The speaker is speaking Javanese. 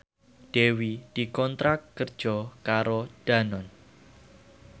Dewi dikontrak kerja karo Danone